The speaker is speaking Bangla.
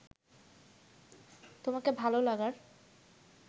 তোমাকে ভালো লাগার